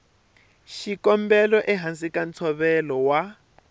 xikombelo ehansi ka ntshovelo wa